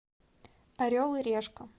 орел и решка